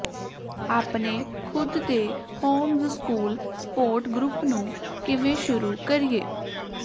ਆਪਣੇ ਖੁਦ ਦੇ ਹੋਮਜ਼ਸਕੂਲ ਸਪੋਰਟ ਗਰੁੱਪ ਨੂੰ ਕਿਵੇਂ ਸ਼ੁਰੂ ਕਰੀਏ